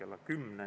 Aitäh!